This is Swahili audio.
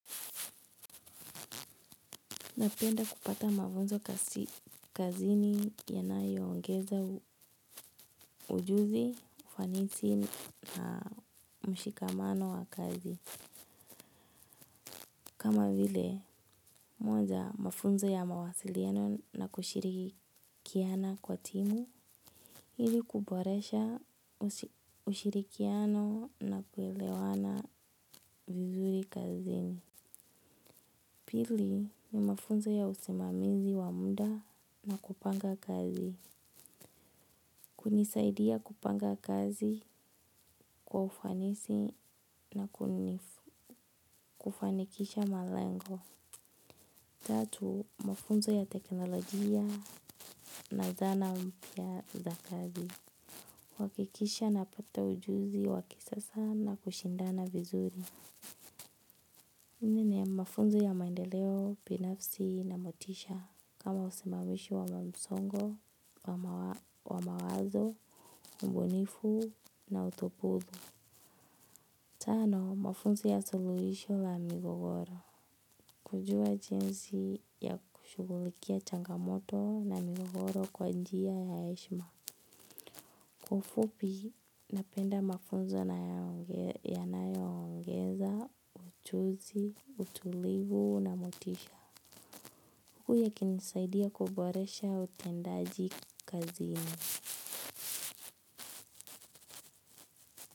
Napenda kupata mafunzo kazini ya nayo ongeza ujuzi, ufanisi na mshikamano wa kazi. Kama vile, moja mafunzo ya mawasiliano na kushirikiana kwa timu, ili kuboresha ushirikiano na kuelewana vizuri kazini. Pili ni mafunzo ya usimamizi wa muda na kupanga kazi. Kunisaidia kupanga kazi kwa ufanisi na kufanikisha malengo. Tatu, mafunzo ya teknolojia na zana mpyaza kazi kuhakikisha napata ujuzi wa kisasa na kushindana vizuri. Nne, mafunzo ya maendeleo, binafsi na motisha, kama usimamishi wa msongo wa mawazo, ubunifu na utopudhu. Tano, mafunzo ya suluhisho la migogoro. Kujua jinsi ya kushugulikia changamoto na migogoro kwa njia ya heshima. Kwa ufupi, napenda mafunzo yanayo ongeza, ujuzi, utulivu na motisha. Huku yakinisaidia kuboresha utendaji kazi.